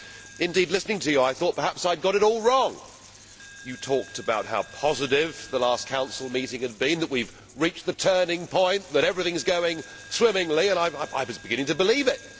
Indeed, Mr Van Rompuy, listening to you, I thought perhaps I had got it all wrong. You talked about how positive the last Council meeting had been, that we have reached the turning point, that everything is going swimmingly, and I was beginning to believe it.